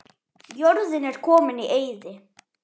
Jörðin er komin í eyði.